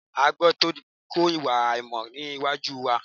A gbọ́dọ̀ ta ko ìwà àìmọ̀ ní àwùjọ wa